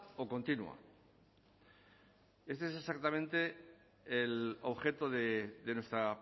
o continua esto es exactamente el objeto de nuestra